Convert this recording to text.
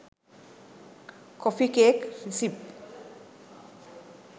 coffee cake recipe